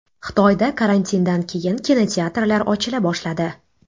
Xitoyda karantindan keyin kinoteatrlar ochila boshladi.